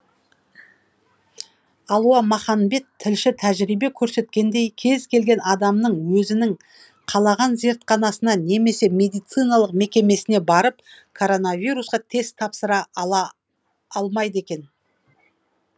алуа маханбет тілші тәжірибе көрсеткендей кез келген адам өзінің қалаған зертханасына немесе медициналық мекемесіне барып коронавирусқа тест тапсыра ала алмайды екен